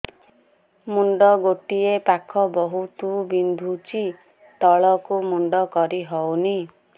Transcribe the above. ମୁଣ୍ଡ ଗୋଟିଏ ପାଖ ବହୁତୁ ବିନ୍ଧୁଛି ତଳକୁ ମୁଣ୍ଡ କରି ହଉନି